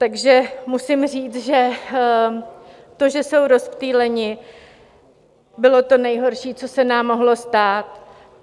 Takže musím říct, že to, že jsou rozptýleni, bylo to nejhorší, co se nám mohlo stát.